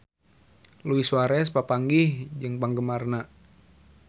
Luis Suarez papanggih jeung penggemarna